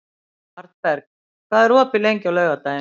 Arnberg, hvað er opið lengi á laugardaginn?